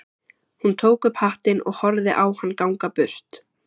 Hún tók upp hattinn og horfði á hann ganga burt.